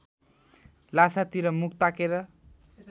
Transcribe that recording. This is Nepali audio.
ल्हासातिर मुख ताकेर